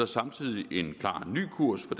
samtidig en klar ny kurs for